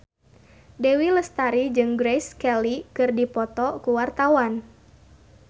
Dewi Lestari jeung Grace Kelly keur dipoto ku wartawan